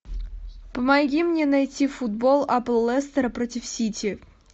помоги мне найти футбол апл лестера против сити